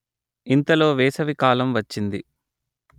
ఇంతలో వేసవి కాలం వచ్చింది